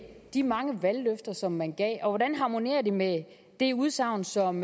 de mange valgløfter som man gav hvordan harmonerer det med det udsagn som